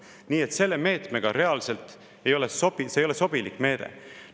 Nii et see meede reaalselt ei ole sobiv, see ei ole sobilik meede.